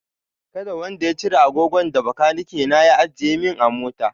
Kada wanda ya cire agogon da bakaniki na ya ajiye min a mota!